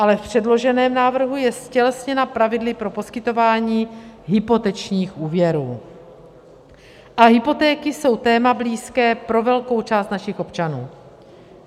Ale v předloženém návrhu je ztělesněna pravidly pro poskytování hypotečních úvěrů a hypotéky jsou téma blízké pro velkou část našich občanů.